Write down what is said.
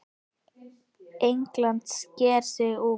England sker sig úr.